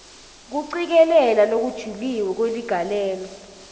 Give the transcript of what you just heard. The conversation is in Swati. kucikelela lokujulile kweligalelo